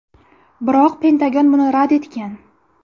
Biroq Pentagon buni rad etgan.